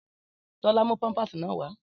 Tólá mú páńpásì náà wà